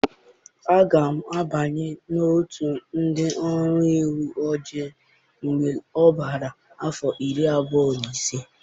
Aga m abanye n'otu ndị ọrụ uwe ojii mgbe m gbara afọ iri abụọ na ise.